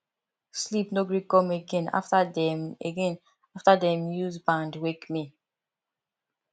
sleep no gree come again after dem again after dem use band wake me